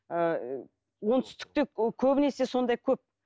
ыыы оңтүстікте ы көбінесе сондай көп